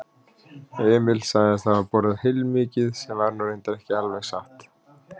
Emil sagðist hafa borðað heilmikið sem var nú reyndar ekki alveg satt.